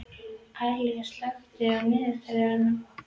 Aríela, slökktu á niðurteljaranum.